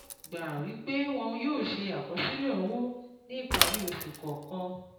gbà wí pé wọn yóò ṣe àkọsílẹ̀ owó ní ìparí oṣù kọ̀ọ̀kan